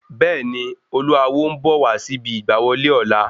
Bẹ́ẹ̀ni, Olú Awo n bọ̀ wá síbi ìgbà wọlé ọ̀la